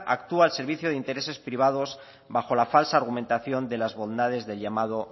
actúa al servicio de intereses privados bajo la falsa argumentación de las bondades del llamado